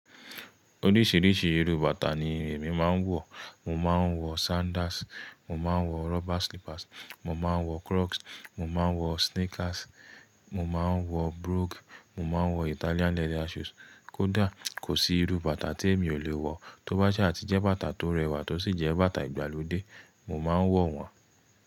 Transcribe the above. Oríṣìíríṣìí irú bàtà ni èmi máa ń wọ̀. Mo máa ń wọ̀ sandals, mo máa ń wọ̀ rubber slippers, mo máa ń wọ̀ krọks, mo máa ń wọ̀ sneakers, mo máa ń wọ̀ brogues, mo máa ń wọ̀ Italian leather shoes. Kódà kò sí irú bàtà tí èmi ò lè wọ̀. Tóbá ṣé a ti jẹ́ bàtà tó rẹwà tó sì jẹ́ bàtà ìgbàlódé, mo máa ń wọ̀n wọ́n.